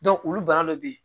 olu bana dɔ be yen